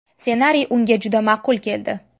Ssenariy unga juda ma’qul keldi.